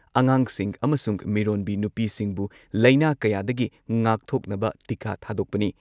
ꯑꯉꯥꯡꯁꯤꯡ ꯑꯃꯁꯨꯡ ꯃꯤꯔꯣꯟꯕꯤ ꯅꯨꯄꯤꯁꯤꯡꯕꯨ ꯂꯩꯅꯥ ꯀꯌꯥꯗꯒꯤ ꯉꯥꯛꯊꯣꯛꯅꯕ ꯇꯤꯀꯥ ꯊꯥꯗꯣꯛꯄꯅꯤ ꯫